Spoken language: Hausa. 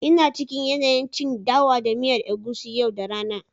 ina cikin yanayin cin dawa da miyar egusi yau da rana